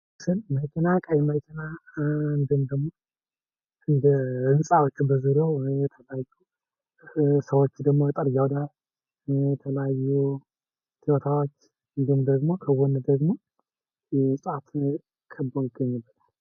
ይህ ምስል ቀይ መኪና እንዲሁም ደሞ እንደ ህንጻዎችም በዙሪያው የተለያዩ ሰዎችም፣ የተለያዩ ቲወታዎች እንዲሁም ደሞ ከጎን ደሞ ህንጻዎች ከበዉ ይገኛሉ።